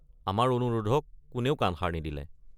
আমাৰ অনুৰোধক কোনেও কাণসাৰ নিদিলে।